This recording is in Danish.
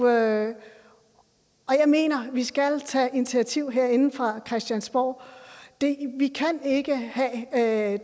jeg mener vi skal tage initiativ herinde fra christiansborg vi kan ikke have